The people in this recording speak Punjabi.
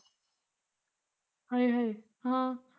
ਹਾਏ ਹਾਏ ਹਾਂ